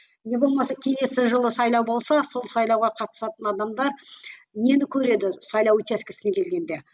не болмаса келесі жылы сайлау болса сол сайлауға қатысатын адамдар нені көреді сайлау учаскесіне келгенде